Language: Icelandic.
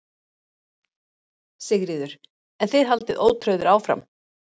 Sigríður: En þið haldið ótrauðir áfram?